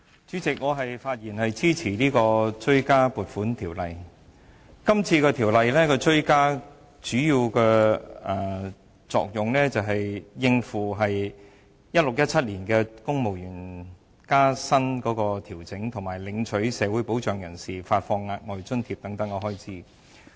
主席，我發言支持《追加撥款條例草案》。《條例草案》主要用以應付 2016-2017 年度公務員薪酬調整，以及向領取社會保障人士發放額外津貼等開支。